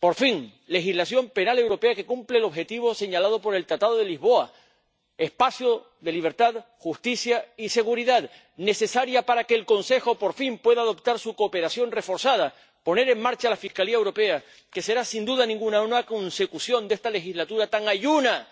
Por fin, legislación penal europea que cumple el objetivo señalado por el Tratado de Lisboa, espacio de libertad, justicia y seguridad, necesaria para que el Consejo, por fin, pueda adoptar su cooperación reforzada, poner en marcha la Fiscalía Europea, que será, sin duda ninguna, una consecución de esta legislatura tan ayuna